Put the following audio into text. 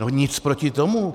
No nic proti tomu.